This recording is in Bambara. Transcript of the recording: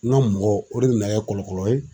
N ka mɔgɔ ,o de be na kɛ kɔlɔkɔlɔ ye